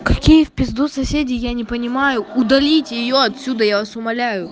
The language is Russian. какие в пизду соседи я не понимаю удалите её отсюда я вас умоляю